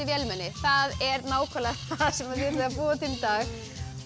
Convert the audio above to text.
vélmenni það er nákvæmlega það sem við ætlum að búa til í dag